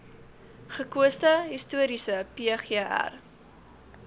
gekose historiese pgr